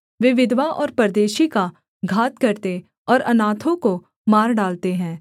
वे विधवा और परदेशी का घात करते और अनाथों को मार डालते हैं